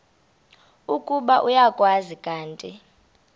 ukuba uyakwazi kanti